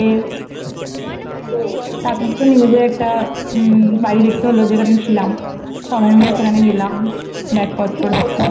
হুম তারপর তো নিজেদের একটা উমম বাড়ি দেখতে হলো যেখানে ছিলাম, সবাই মিলে সেখানে গেলাম ব্যাগ পত্র